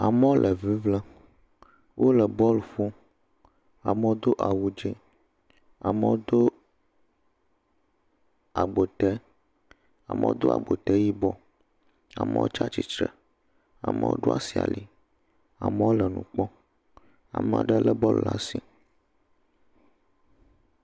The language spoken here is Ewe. Amewo le ŋiŋlem, wole bolu ƒom, amewo do awu dzɛ, amewo do agbote, amewo do agbote yibɔ, amewo tsi atsitre, amewo ɖo asi ali, amewo le blu kpɔm, ame aɖe lé bɔlu ɖe asi.